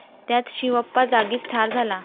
त्यात शिवप्पा जागीच ठार झाला.